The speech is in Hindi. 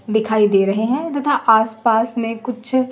दिखाई दे रहे है तथा आसपास में कुछ --